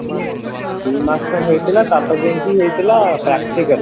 ଦି ମାସ ପାଇଁ ହେଇଥିଲା ତାପରେ ଯାଇକି ହେଇଥିଲା practical